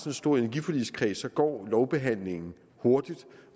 en stor energiforligskreds går lovbehandlingen hurtigt